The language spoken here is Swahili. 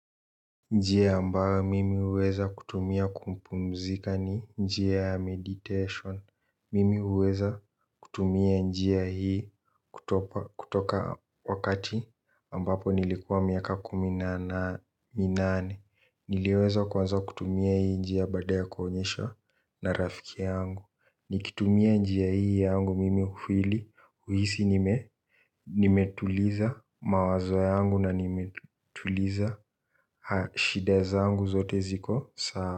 Njia ambayo mimi huweza kutumia kumpumzika ni njia ya meditation, mimi huweza kutumia njia hii kutoka wakati nilipokuwa miaka kumi na minane niliweza kuanza kutumia hii njia baada ya kuonyeshwa na rafiki yangu nikitumia njia hii yangu mimi ukweli, huhisi nime nimetuliza mawazo yangu na nimetuliza shide zaangu zote ziko sawa.